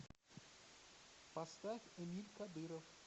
поставь эмиль кадыров